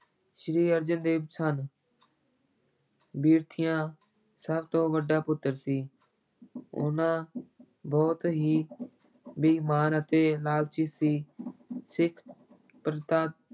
ਸ੍ਰੀ ਅਰਜਨ ਦੇਵ ਸਨ ਪਿਰਥੀਆ ਸਭ ਤੋਂ ਵੱਡਾ ਪੁੱਤਰ ਸੀ ਉਹਨਾਂ ਬਹੁਤ ਹੀ ਬੇਈਮਾਨ ਅਤੇ ਲਾਲਚੀ ਸੀ ਸਿੱਖ ਪ੍ਰਥਾ